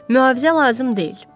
Mühafizə lazım deyil.